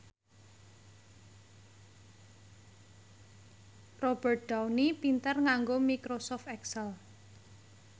Robert Downey pinter nganggo microsoft excel